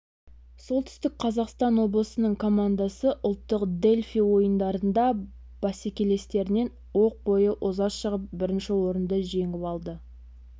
солтүстік қазақстан облысының командасы ұлттық дельфий ойындарында бәсекелестерінен оқ бойы оза шығып бірінші орынды жеңіп алды